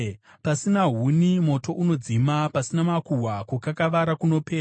Pasina huni moto unodzima; pasina makuhwa kukakavara kunopera.